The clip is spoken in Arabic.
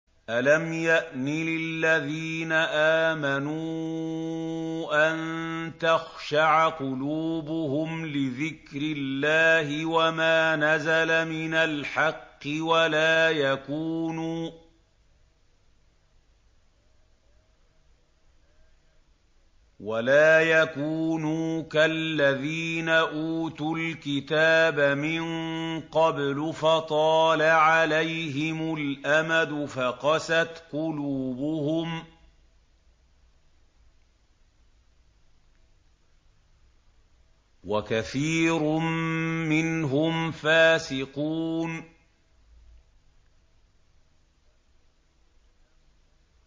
۞ أَلَمْ يَأْنِ لِلَّذِينَ آمَنُوا أَن تَخْشَعَ قُلُوبُهُمْ لِذِكْرِ اللَّهِ وَمَا نَزَلَ مِنَ الْحَقِّ وَلَا يَكُونُوا كَالَّذِينَ أُوتُوا الْكِتَابَ مِن قَبْلُ فَطَالَ عَلَيْهِمُ الْأَمَدُ فَقَسَتْ قُلُوبُهُمْ ۖ وَكَثِيرٌ مِّنْهُمْ فَاسِقُونَ